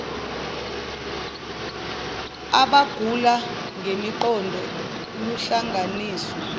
abagula ngengqondo luhlanganiswa